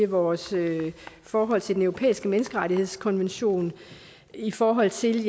vores forhold til den europæiske menneskerettighedskonvention i forhold til